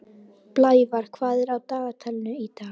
Blævar, hvað er á dagatalinu í dag?